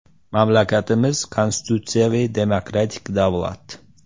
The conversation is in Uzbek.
Mamlakatimiz konstitutsiyaviy, demokratik davlat.